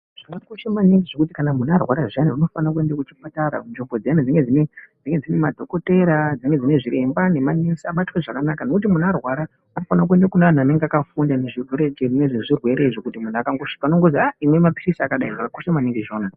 Zvakakosha maningi zvekuti munhu kana arwara zviyani unofanirwe kuende kuchipatara kunzvimbo dziyana dzinenge dzine madhokodheya dzinenge dzine zviremba nemanesi abatwe zvakanaka nekuti munhu arwara anofanire kuende kune anhu anenge akafunda nezvezvirwere izvi kuti munhu akangosvika unozwi aah imwe mapilizi akadai zvakakosha maningi izvona.